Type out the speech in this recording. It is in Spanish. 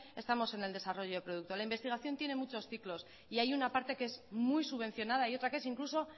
estamos en el desarrollo del producto la investigación tiene muchos ciclos y hay una parte que es muy subvencionada y otra que es incluso